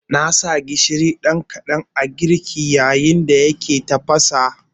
Na ƙara gishiri kaɗan a girkin, yayin da yake tafasa